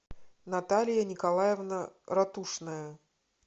наталья николаевна ратушная